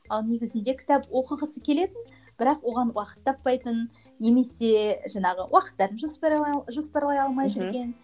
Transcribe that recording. ал негізінде кітап оқығысы келетін бірақ оған уақыт таппайтын немесе жаңағы уақыттарын жоспарлай алмай жүрген мхм